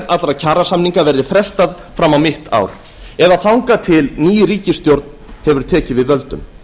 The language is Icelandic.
allra kjarasamninga verði frestað fram á mitt ár eða þangað til ný ríkisstjórn hefur tekið við völdum